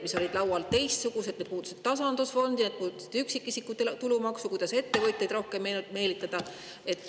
Laual olid hoopis teistsugused meetmed, need puudutasid tasandusfondi, üksikisiku tulumaksu ja seda, kuidas ettevõtjaid rohkem sinna meelitada.